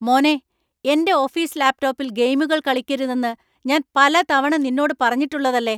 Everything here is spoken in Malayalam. മോനെ, എന്‍റെ ഓഫീസ് ലാപ് ടോപ്പിൽ ഗെയിമുകൾ കളിക്കരുതെന്ന് ഞാൻ പല തവണ നിന്നോട് പറഞ്ഞിട്ടുള്ളതല്ലേ?